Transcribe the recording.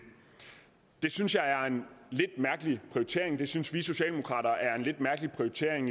det synes jeg er en lidt mærkelig prioritering det synes vi socialdemokrater er en lidt mærkelig prioritering